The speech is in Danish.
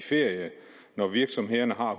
ferie når virksomhederne har